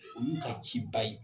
O y'u ka ciba ye.